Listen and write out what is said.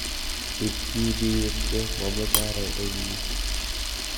Ib kii biwirte, mameche aro eng yu.